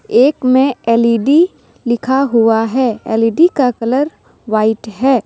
एक में एल_ई_डी लिखा हुआ है एल_इ_डी का कलर व्हाइट है।